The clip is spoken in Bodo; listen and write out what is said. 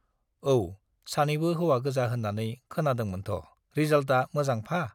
औ, सानैबो हौवा गोजा होन्नानै खोनादोंमोनथ' रिजाल्टआ मोजां फा?